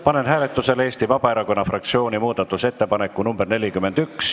Panen hääletusele Eesti Vabaerakonna fraktsiooni muudatusettepaneku nr 41.